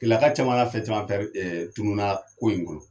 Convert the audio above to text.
Keleya ka caman ka fɛn caman pɛri ɛ tununna ko in kɔnɔ